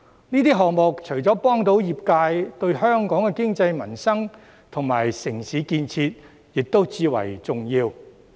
這些項目除了能幫助業界，對香港的經濟民生及城市建設亦至為重要。